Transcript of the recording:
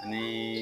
Ni